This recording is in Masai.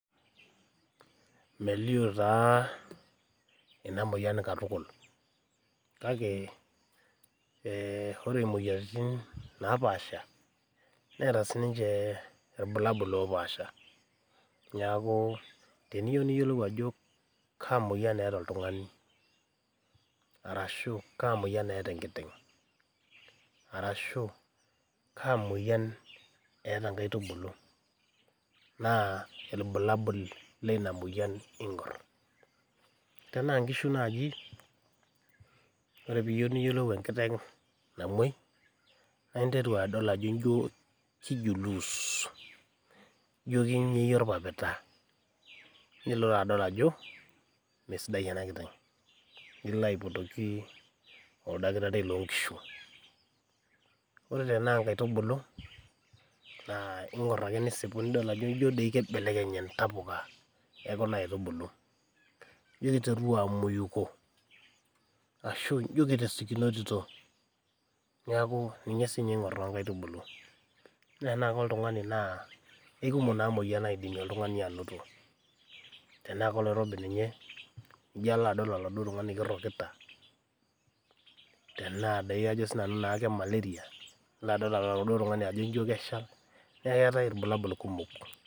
Melio taa ena moyian katukul kake ore imoyiaritin napaasha neeta siininche irbulabol oopasha neeku teniyieu niyiolou ajo kaa moyian eeta oltung'ani ashuua kaa moyian eeta enkiteng naa irbulabol leina moyian ing'or tenaa nkishu naaji ore piiyieu niyiolou enkiteng namuoi naa interu adol ajo jio keijuluus jio keinyieyie orpapita ninteru ake adol ajo mesidai ena kiteng nilo aipotoki oldakitari loonkishu ore tenaa inkaitubulu ing'or ake nisipu nidol ajo jiodoi mesidain intapuka ekuna aitubulu jio keiteru amaoiko amu keikumok naa imoyiaritin tenaa koloirobi ninye nijio alo adol oladuo tung'ani ajo keirokita nilo adol aladuo tung'ani ajo keshal neeku keetai naa irbulabol kumok.